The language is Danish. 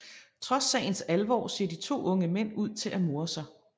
Trods sagens alvor ser de to unge mænd ud til at more sig